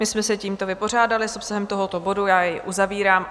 My jsme se tímto vypořádali s obsahem tohoto bodu, já jej uzavírám.